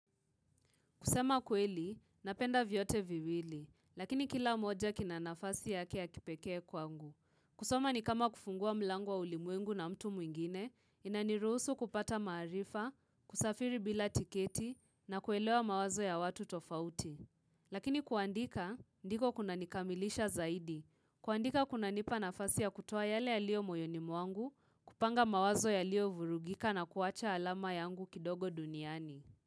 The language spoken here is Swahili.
Kusema kweli, napenda vyote viwili, lakini kila moja kina nafasi ya kipekee kwangu. Kusoma ni kama kufungua mlango wa ulimwengu na mtu mwingine, inaniruhusu kupata maarifa, kusafiri bila tiketi, na kuelewa mawazo ya watu tofauti. Lakini kuandika, ndiko kuna nikamilisha zaidi. Kuandika kuna nipa nafasi ya kutuoa yale yalio moyoni mwangu, kupanga mawazo yaliyovurugika na kuacha alama yangu kidogo duniani.